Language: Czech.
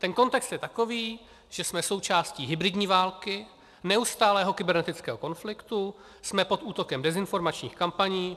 Ten kontext je takový, že jsme součástí hybridní války, neustálého kybernetického konfliktu, jsme pod útokem dezinformačních kampaní.